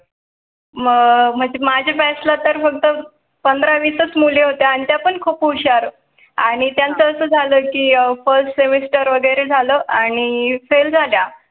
मग म्हणजे माझ्या batch ला तर फक्त पंधरा वीस मुले होते आणि ते पण खूप हुशार आणि त्यांचा असं झालं की first semester वगैरे झालं आणि फेल झाल्या